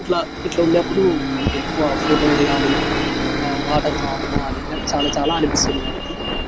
ఇట్లా ఇట్ల వున్నప్పుడు మనకి ఎక్కువ ఫోటోలు దిగాలి ఇలా వాటర్ తో ఆడుకోవాలి అని చాలా చాలా అనిపిస్తుంది వారికి.